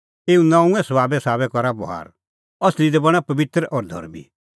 ऐबै दैनअ परमेशरै तम्हां लै आप्पू ज़िहअ नऊंअ भलअ सभाब एऊ नऊंऐं सभाबे साबै करा बभार असली दी बणां पबित्र और धर्मीं